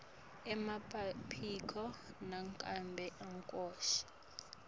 emapasiphoti nangabe akusito